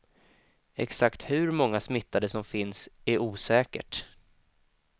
Exakt hur många smittade som finns är osäkert.